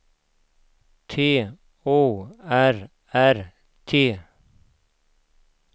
T O R R T